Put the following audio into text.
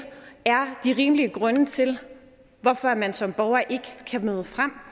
de rimelige grunde til hvorfor man som borger ikke kan møde frem